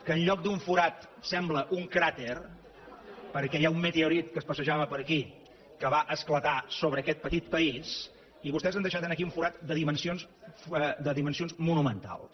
que en lloc d’un forat sembla un cràter perquè hi ha un meteorit que es passejava per aquí que va esclatar sobre aquest petit país i vostès han deixat aquí un forat de dimensions monumentals